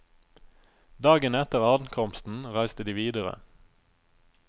Dagen etter ankomsten reiste de videre.